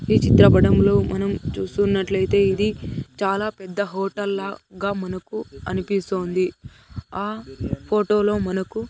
ఈ చిత్రపటంలో మనం చూస్తున్నట్లతే ఇది చాలా పెద్ద హోటల్ లాగ మనకు అనిపిస్తోంది ఆ ఫోటోలో మనకు --